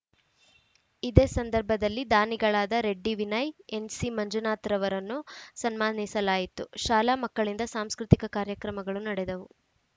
ಇದೇ ಸಂದರ್ಭದಲ್ಲಿ ದಾನಿಗಳಾದ ರೆಡ್ಡಿ ವಿನಯ್‌ ಎನ್‌ಸಿಮಂಜುನಾಥರವರನ್ನು ಸನ್ಮಾನಿಸಲಾಯಿತು ಶಾಲಾ ಮಕ್ಕಳಿಂದ ಸಾಂಸ್ಕೃತಿಕ ಕಾರ್ಯಕ್ರಮಗಳು ನಡೆದವು